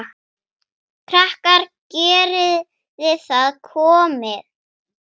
Krakkar geriði það komiði!